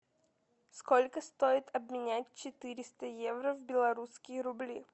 сколько стоит обменять четыреста евро в белорусские рубли